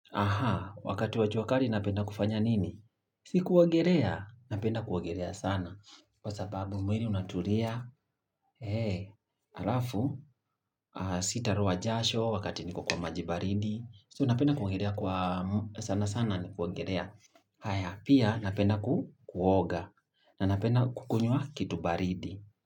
Ahaa, wakati wajua kari napenda kufanya nini? Sikuongerea, napenda kuogelea sana. Kwa sababu mwili unatulia, ee, halafu aaaa, sitaloa jasho, wakati niko kwa maji baridi. So napenda kuongelea kwa m sana sana ni kuongelea. Haya, pia napenda ku kuoga, na napenda kukunywa kitu baridi.